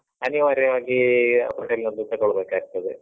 ಅನಿವಾರ್ಯವಾಗಿ hotel ನದ್ದು ತಗೋಳ್ಬೇಕಾಗ್ತದೆ.